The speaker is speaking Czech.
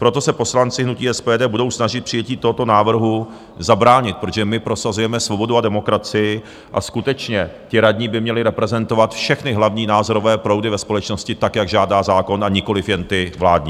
Proto se poslanci hnutí SPD budou snažit přijetí tohoto návrhu zabránit, protože my prosazujeme svobodu a demokracii, a skutečně, ti radní by měli reprezentovat všechny hlavní názorové proudy ve společnosti tak, jak žádá zákon, a nikoliv jen ty vládní.